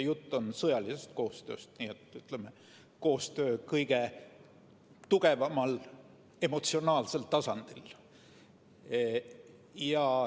Jutt on sõjalisest koostööst, nii et koostöö kõige tugevamal emotsionaalsel tasandil.